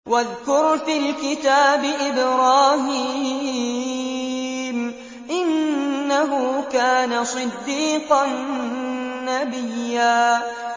وَاذْكُرْ فِي الْكِتَابِ إِبْرَاهِيمَ ۚ إِنَّهُ كَانَ صِدِّيقًا نَّبِيًّا